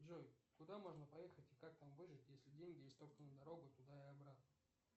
джой куда можно поехать и как там выжить если деньги есть только на дорогу туда и обратно